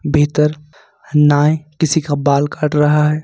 भीतर नाय किसी का बाल काट रहा है।